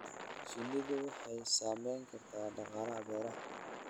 Shinnidu waxay saamayn kartaa dhaqaalaha beeraha.